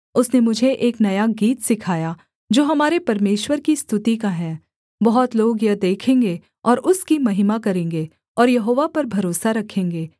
उसने मुझे एक नया गीत सिखाया जो हमारे परमेश्वर की स्तुति का है बहुत लोग यह देखेंगे और उसकी महिमा करेंगे और यहोवा पर भरोसा रखेंगे